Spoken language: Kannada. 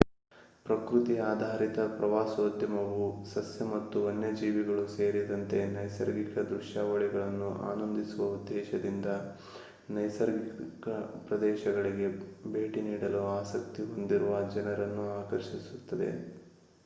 ಪ್ರಕೃತಿ ಆಧಾರಿತ ಪ್ರವಾಸೋದ್ಯಮವು ಸಸ್ಯ ಮತ್ತು ವನ್ಯಜೀವಿಗಳು ಸೇರಿದಂತೆ ನೈಸರ್ಗಿಕ ದೃಶ್ಯಾವಳಿಗಳನ್ನು ಆನಂದಿಸುವ ಉದ್ದೇಶದಿಂದ ನೈಸರ್ಗಿಕ ಪ್ರದೇಶಗಳಿಗೆ ಭೇಟಿ ನೀಡಲು ಆಸಕ್ತಿ ಹೊಂದಿರುವ ಜನರನ್ನು ಆಕರ್ಷಿಸುತ್ತದೆ